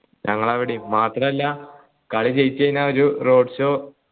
ഞങ്ങൾ അവിടേം മാത്രല്ല കളി ജയിച്ച് കഴിഞ്ഞ ഒരു road show